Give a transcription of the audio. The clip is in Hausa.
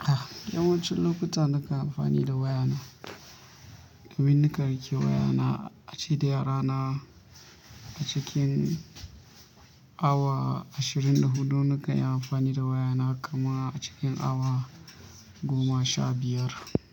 ah, yawancin lokuta nakan amfani da wayana. Domin nakan rike wayana, a ce da yarana a cikin awa ashirin da hudu. Nakan yi amfani da wayana kama a cikin awa goma sha biyar.